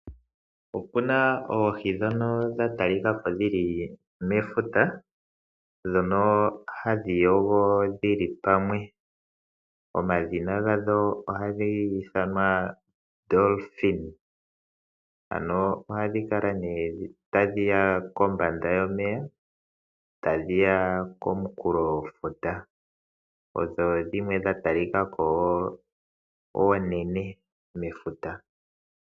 Opu na oohi ndhono dha talika ko dhi li mefuta ndhono hadhi yogo dhi li pamwe. Omadhina gadho ohadhi ithanwa oodolfin. Ohadhi kala nduno tadhi ya kombanda yomeya, tadhi ya komunkulofuta. Odha talika ko oonene mefuta..